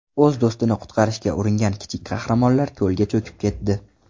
O‘z do‘stini qutqarishga uringan kichik qahramonlar ko‘lga cho‘kib ketdi.